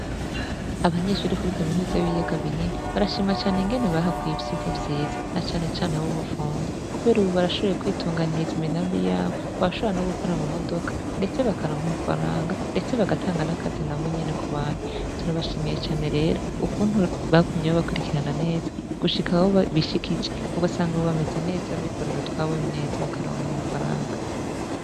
Abanyeshuri kuri kaminuzi b'iyaga binini barashima cane ingene bahakuye ivyirwa vyiza na canecane ab'ubupfunzi, kubera, ubu barashoboye kwitunganiriza imigambi yabo babashobara no gukora mu modoka, ndetse bakanonka amafaranga, ndetse bagatanga n'akazina bo nyene ku bantu turabashimiye cane rero ukuntu bagumye bo bakurikirana neza gushika whobishie kice ugasanga, ubu bameze neza bikorera utwawe neza bakaronka amafaranka.